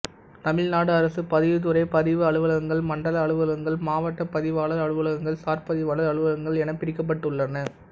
தமிழ்நாடு அரசு பதிவுத்துறை பதிவு அலுவலகங்கள் மண்டல அலுவலகங்கள் மாவட்டப் பதிவாளர் அலுவலகங்கள் சார்பதிவாளர் அலுவலகங்கள் என பிரிக்கப்பட்டுள்ளன